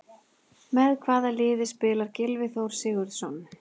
Með hvaða liði spilar Gylfi Þór Sigurðsson?